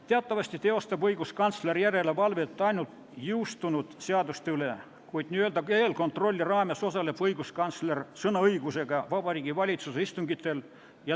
Teatavasti teeb õiguskantsler järelevalvet ainult jõustunud seaduste üle, kuid n-ö eelkontrolli raames osaleb õiguskantsler sõnaõigusega Vabariigi Valitsuse istungitel.